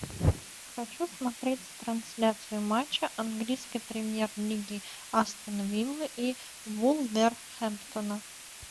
хочу смотреть трансляцию матча английской премьер лиги астон виллы и вулверхэмптона